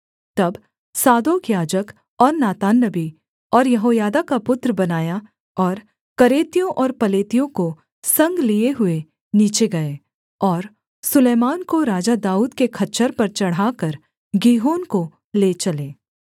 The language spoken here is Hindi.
तब सादोक याजक और नातान नबी और यहोयादा का पुत्र बनायाह और करेतियों और पलेतियों को संग लिए हुए नीचे गए और सुलैमान को राजा दाऊद के खच्चर पर चढ़ाकर गीहोन को ले चले